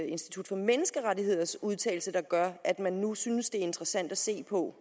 institut for menneskerettigheders udtalelse der gør at man nu synes det er interessant at se på